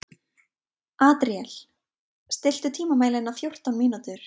Adríel, stilltu tímamælinn á fjórtán mínútur.